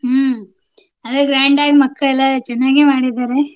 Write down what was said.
ಹ್ಮ್ ಅದೇ grand ಆಗಿ ಮಕ್ಳಳೆಲ್ಲಾ ಚೆನ್ನಾಗೆ ಮಾಡಿದಾರೆ.